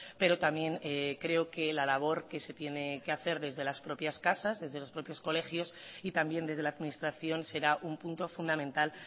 pero también creo que la labor que se tiene que hacer desde las propias casas desde los propios colegios y también desde la administración será un punto fundamental